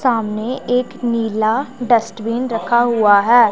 सामने एक नीला डस्टबिन रखा हुआ है।